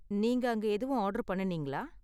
நீங்க அங்க எதுவும் ஆர்டர் பண்ணுனீங்களா?